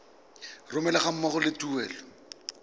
romelwa ga mmogo le tuelo